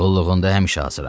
Qulluğunda həmişə hazıram.